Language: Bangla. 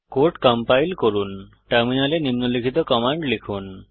কোড কম্পাইল করুন টার্মিনালে নিম্নলিখিত কমান্ড লিখুন